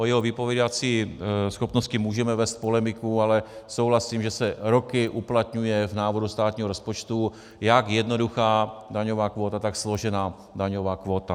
O jeho vypovídací schopnosti můžeme vést polemiku, ale souhlasím, že se roky uplatňuje v návrhu státního rozpočtu jak jednoduchá daňová kvóta, tak složená daňová kvóta.